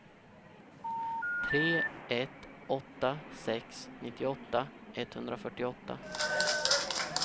tre ett åtta sex nittioåtta etthundrafyrtioåtta